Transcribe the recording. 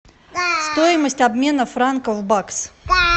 стоимость обмена франков в бакс